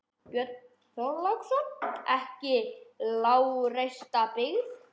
Björn Þorláksson: Ekki lágreista byggð?